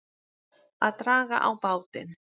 Að draga á bátinn